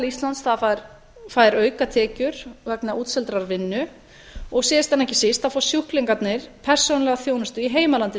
íslands fær aukatekjur vegna útseldrar vinnu og síðan en ekki síst fá sjúklingarnir persónulega þjónustu í heimalandi